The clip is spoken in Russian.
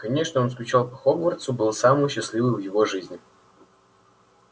конечно он скучал по хогвартсу был самый счастливый в его жизни